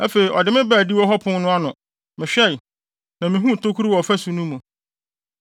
Afei ɔde me baa adiwo hɔ pon no ano. Mehwɛe, na mihuu tokuru wɔ ɔfasu no mu.